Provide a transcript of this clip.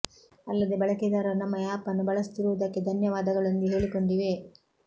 ಅಲ್ಲದೆ ಬಳಕೆದಾರರು ನಮ್ಮ ಆಪ್ ಅನ್ನು ಬಲಸುತ್ತಿರುವುದಕ್ಕೆ ಧನ್ಯವಾದಗಳು ಎಂದು ಹೇಳಿಕೊಂಡಿದೆ